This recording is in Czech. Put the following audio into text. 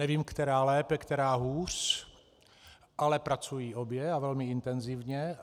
Nevím, která lépe, která hůř, ale pracují obě a velmi intenzivně.